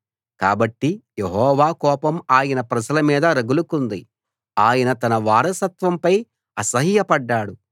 కాబట్టి యెహోవా కోపం ఆయన ప్రజల మీద రగులుకుంది ఆయన తన వారసత్వంపై అసహ్యపడ్డాడు